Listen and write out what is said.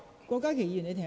郭家麒議員，請稍停。